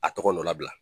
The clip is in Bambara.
A tɔgɔ nɔ labila